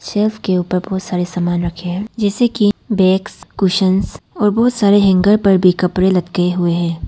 Safe के ऊपर बहुत सारे समान रखे हैं जैसे की बैग्स कुशन और बहुत सारे हैंगर पर भी कपड़े लटके हुए हैं।